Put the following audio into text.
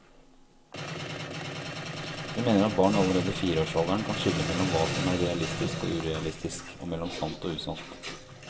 Hun mener at barn allerede i fireårsalderen kan skille mellom hva som er realistisk og urealistisk, og mellom sant og usant.